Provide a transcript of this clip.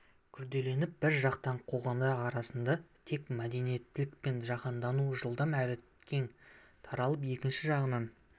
күрделеніп бір жақтан қоғамдар арасында тек мәдениеттілік пен жаһандану жылдам әрі кең таралып екінші жағынан